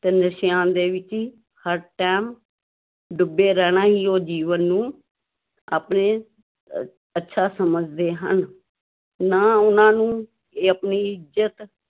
ਤੇ ਨਸ਼ਿਆਂ ਦੇ ਵਿੱਚ ਹੀ ਹਰ time ਡੁੱਬੇ ਰਹਿਣਾ ਹੀ ਉਹ ਜੀਵਨ ਨੂੰ ਆਪਣੇ ਅੱਛਾ ਸਮਝਦੇ ਹਨ, ਨਾ ਉਹਨਾਂ ਨੂੂੰ ਇਹ ਆਪਣੀ ਇੱਜ਼ਤ